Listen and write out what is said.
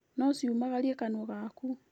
Nociũmagarie kanua gaku